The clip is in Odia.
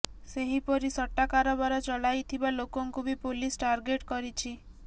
ସେହିପରି ସଟ୍ଟା କାରବାର ଚଲାଇଥିବା ଲୋକଙ୍କୁ ବି ପୋଲିସ ଟାର୍ଗେଟ କରିଛି